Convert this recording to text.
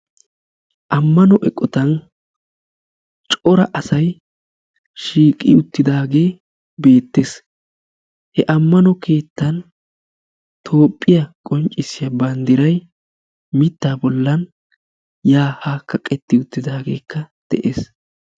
Ammano eqqotan cora asay shiiqi uttidaage bettees. He ammano keettan Toophiya qonccissiya banddiray mitta bollan ya ha kaqqeti uttidaagekka de'ees.